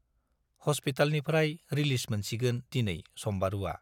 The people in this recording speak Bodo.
हस्पितालनिफ्राय रिलिज मोनसिगोन दिनै सम्बारुवा।